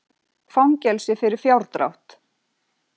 Fangelsi fyrir fjárdrátt